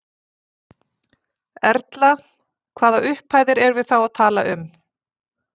Erla: Hvaða upphæðir erum við þá að tala um?